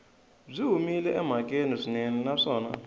byi humile emhakeni swinene naswona